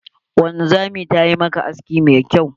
Wanzamin yayi maka aski mai kyau?